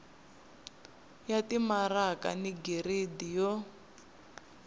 ya timaraka ni giridi yo